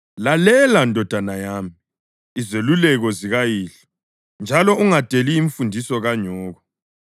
Lalela, ndodana yami, izeluleko zikayihlo njalo ungadeli imfundiso kanyoko.